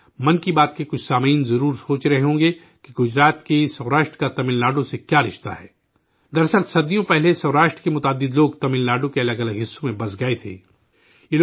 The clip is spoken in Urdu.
'من کی بات' کے کچھ سامعین ضرور سوچ رہے ہوں گے کہ گجرات کے سوراشٹر کا تمل ناڈو سے کیا تعلق ہے؟ دراصل، صدیوں پہلے سوراشٹر کے کئی لوگ تمل ناڈو کے الگ الگ حصوں میں آباد ہو گئے تھے